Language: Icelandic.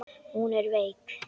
Hún er veik.